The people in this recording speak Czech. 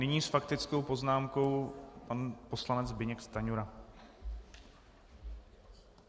Nyní s faktickou poznámkou pan poslanec Zbyněk Stanjura.